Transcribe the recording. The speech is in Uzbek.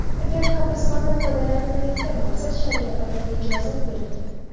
Agar qabristondan foydalanilmayotgan bo‘lsa, shariatda bunga ijozat berilgan.